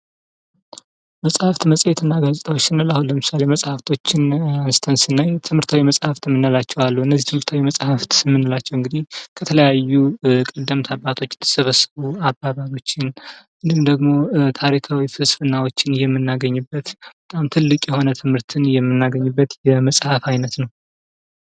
መፅሀፍት፣ መፅሔት እና ጋዜጣዎች ስንል አሁን ለምሳሌ መፅሀፍቶች አንስተን ስናይ ትምህርታዊ መፅሀፍት የምንላቸዉ አሉ። እነዚህ ትምህርታዊ መፅሀፍት የምንላቸዉ እንግዲህ ከተለያዩ ቀደምት አባቶች የተሰበሰቡ አባባሎችን፣ እንዲሁም ደግም ታሪካዊ ፍልስፍናዎችን የምናገኝበት በጣም ትልቅ የሆነ መሰረታዊ እዉቀት የምናገኝበት የመፅሀፍት አይነት ነዉ።